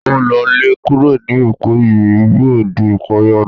O lo lè kúrò ní Èkó yìí bí ò di ìparí ọdún